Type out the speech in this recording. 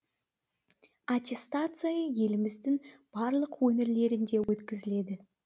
аттестация еліміздің барлық өңірлерінде өткізіледі